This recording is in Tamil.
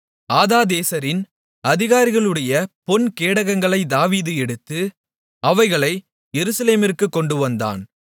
ஆதாதேசரின் அதிகாரிகளுடைய பொன் கேடகங்களை தாவீது எடுத்து அவைகளை எருசலேமிற்குக் கொண்டுவந்தான்